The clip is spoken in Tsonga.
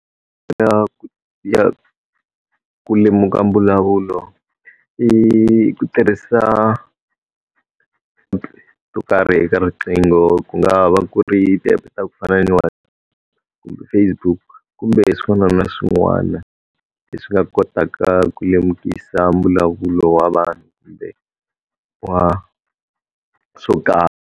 Ya ku ya ku lemuka mbulavulo, i i ku tirhisa ti-app to karhi eka riqingho ku nga va ku ri ti-app ta ku fana na kumbe Facebook kumbe swin'wana na swin'wana, leswi nga kotaka ku lemukisa mbulavulo wa vanhu kumbe wa swo karhi.